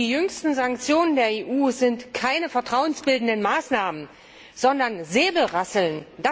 Die jüngsten Sanktionen der EU sind keine vertrauensbildenden Maßnahmen, sondern Säbelrasseln.